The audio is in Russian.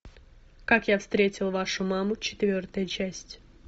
как я встретил вашу маму четвертая часть